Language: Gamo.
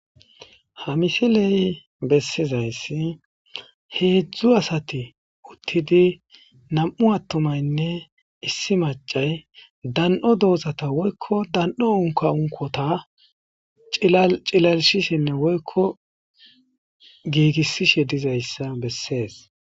ha misiley bessizayssi heedzdzu asati uttidi nam7u attumaynne issi macay dan7o doozata woykko dan7o unka unkota cilalishisinne woykko giigissishe dizayssa bessees